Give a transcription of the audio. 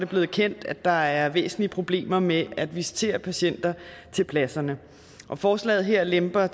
blevet kendt at der er væsentlige problemer med at visitere patienter til pladserne og forslaget her lemper